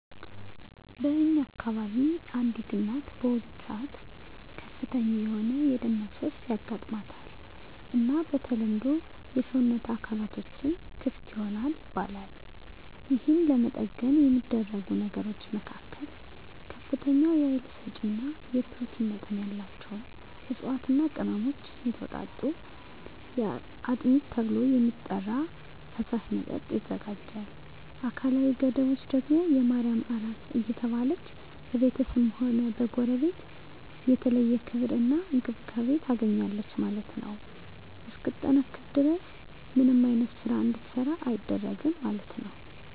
በእኛ አከባቢ አንዲት እናት በወሊድ ሰአት ከፍተኛ የሆነ የደም መፍሰስ ያጋማታል እና በተለምዶ የሰወነት አካላትቶችም ክፍት ይሆናል ይባላል የህን ለመጠገን የሚደረጉ ነገሮች መካከል ከፍተኛ የሀይል ሰጪ እና የኘሮቲን መጠን ያላቸውን እፅዋትና ቅመሞች የተወጣጡ አጥሚት ተብሎ የሚጠራራ ፈሳሽ መጠጥ ይዘጋጃል አካላዊ ገደቦች ደግም የማርያም አራስ እየተባለች በቤተስብም ሆነ ከጎረቤት የተለየ ክብር እና እንክብካቤ ታገኛለች ማለት ነው እስክትጠነክር ድረስ ምንም አይነት ስራ እንድትሰራ አይደረግም ማለት ነው።